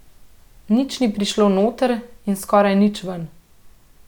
Nič ni prišlo noter in skoraj nič ven.